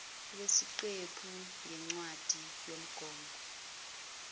wesiqephu ngencwadi yomgomo